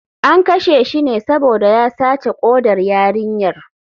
An kashe shi ne saboda ya sace kodar yarinyar.